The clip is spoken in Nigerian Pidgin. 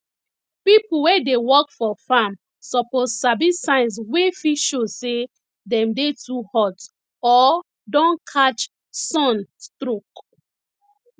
people wey dey work for farm suppose sabi signs wey fit show say dem dey too hot or don catch sun stroke